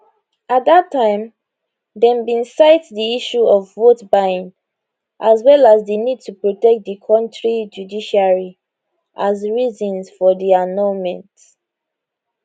at dat time dem bin cite di issue of votebuying as well as di need to protect di kontri judiciary as reasons for di annulment